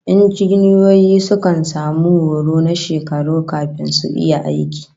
Injiniyoyi sukan samu horo na shekaru kafin su iya aiki